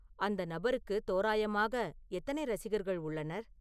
அந்த நபருக்கு தோராயமாக எத்தனை ரசிகர்கள் உள்ளனர்